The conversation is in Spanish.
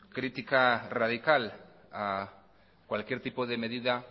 crítica radical a cualquier tipo de medida